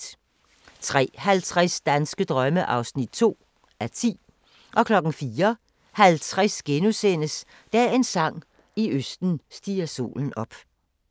03:50: Danske drømme (2:10) 04:50: Dagens sang: I østen stiger solen op *